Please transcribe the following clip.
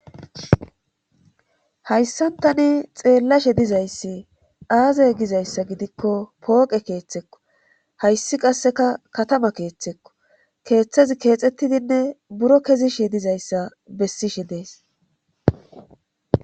Hayssantani xeellashe dizayssi aazey gizayssa gidikko pooqe keeththekko hayssi qasseka katama keeththekko keeththezi keexxettidinne buro kezishe dizayssa bessishe dees.